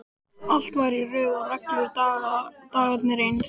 Allt var í röð og reglu, dagarnir eins.